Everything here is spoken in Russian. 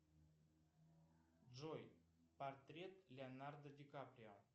джой портрет леонардо ди каприо